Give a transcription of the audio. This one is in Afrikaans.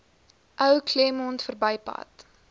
ou claremont verbypad